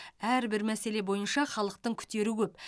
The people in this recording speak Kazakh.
әрбір мәселе бойынша халықтың күтері көп